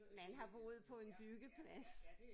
Man har boet på en byggeplads